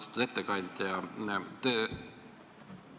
Austatud ettekandja!